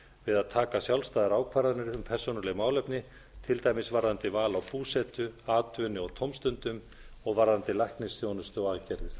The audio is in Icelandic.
að taka sjálfstæðar ákvarðanir um persónuleg málefni til dæmis varðandi val á búsetu atvinnu og tómstundum og varðandi læknisþjónustu og aðgerðir